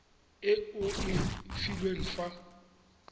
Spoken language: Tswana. e o e filweng fa